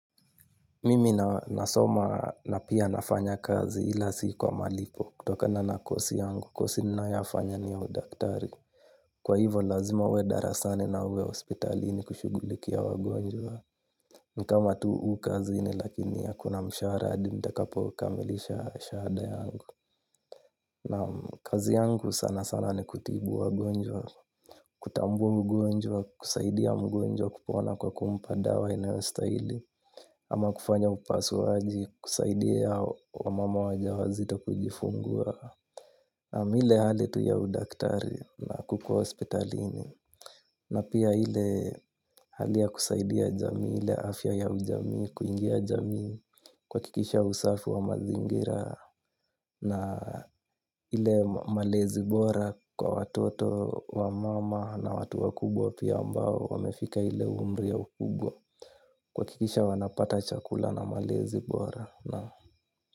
Mimi nasoma na pia nafanya kazi, ila si kwa malipo kutokana na course yangu. Course ninayofanya ni ya udaktari. Kwa hivyo lazima niwe darasani na niwe hospitalini kushughulikia wagonjwa. Ni kama tu hii ni kazi lakini hakuna mshahara hadi nitakapokamilisha shahada yangu. Na kazi yangu sana sana ni kutibu wagonjwa. Kutambua mgonjwa, kusaidia mgonjwa kupona kwa kumpa dawa inayostahili, ama kufanya upasuaji kusaidia mama wajawazito kujifungua. Naam, ile hali tu ya udaktari na kukuwa hospitalini. Na pia ile hali ya kusaidia jamii, ile afya ya jamii, kuingia jamii kwa kuhakikisha usafi wa mazingira na ile malezi bora kwa watoto, wa mama na watu wakubwa pia ambao wamefika ile umri ya ukubwa, kuhakikisha wanapata chakula na malezi bora. Naam.